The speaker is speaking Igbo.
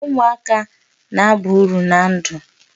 Umuaka na-aba uru na ndụ.